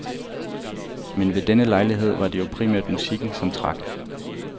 Men ved denne lejlighed var det jo primært musikken, som trak.